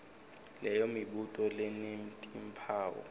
leyo mibuto lenetimphawu